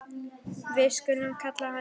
Við skulum kalla hann Jón.